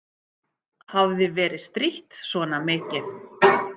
Hafði verið strítt svona mikið.